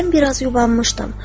Mən biraz yubanmışdım.